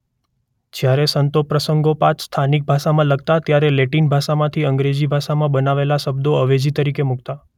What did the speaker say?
જ્યારે સંતો પ્રસંગોપાત સ્થાનિક ભાષામાં લખતા ત્યારે લેટિન ભાષામાંથી અંગ્રેજી ભાષામાં બનાવેલા શબ્દો અવેજી તરીકે મૂકતાં.